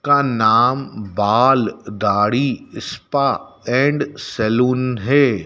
का नाम बाल दाढ़ी स्पा एंड सैलून है।